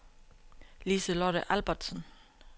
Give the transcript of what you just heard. Liselotte Albertsen